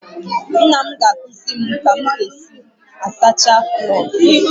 Nna m ga-akụziri m ka m ga-esi asacha plọogụ